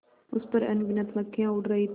उस पर अनगिनत मक्खियाँ उड़ रही थीं